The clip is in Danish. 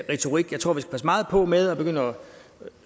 retorik jeg tror vi skal passe meget på med at begynde at